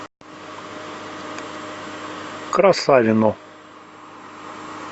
красавино